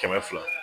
Kɛmɛ fila